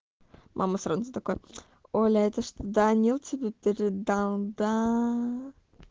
мама сразу такая оля это что даниил тебе передал даа